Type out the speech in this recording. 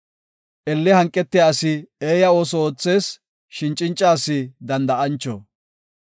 Elle hanqetiya asi eeya ooso oothees; shin cinca asi danda7ancho.